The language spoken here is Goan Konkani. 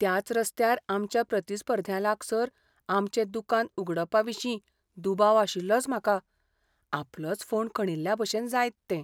त्याच रस्त्यार आमच्या प्रतिस्पर्ध्यां लागसार आमचें दुकान उगडपाविशीं दुबाव आशिल्लोच म्हाका. आपलोच फोंड खणिल्ल्याभशेन जायत तें.